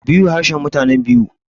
bura harshen mutanen biu